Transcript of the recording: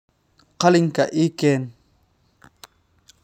Qalinkaa ii keen.